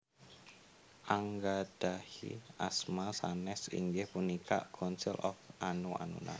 Anggadhahi asma sanes inggih punika Council of Anu Anuna